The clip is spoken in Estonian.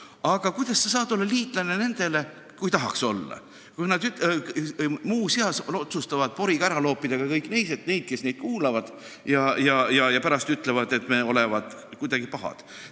Aga kuidas sa saad olla liitlane nendega – kui tahaks olla –, kes nagu muuseas otsustavad poriga mustaks loopida kõik teised – need, kes neid kuulavad – ja pärast ütlevad, et meie olevat kuidagi pahad.